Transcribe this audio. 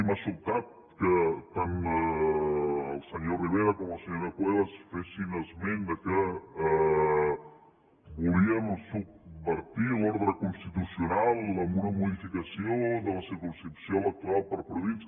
m’ha sobtat que tant el senyor rivera com la senyora cuevas fessin esment que volíem subvertir l’ordre constitucional amb una modificació de la circumscripció electoral per províncies